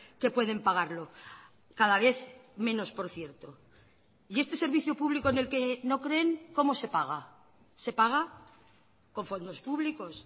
que pueden pagarlo cada vez menos por cierto y este servicio público en el que no creen cómo se paga se paga con fondos públicos